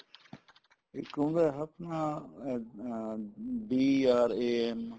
ਇਕ ਹੁੰਦਾ ਆਪਾਂ ਅਮ ਅਮ BRAM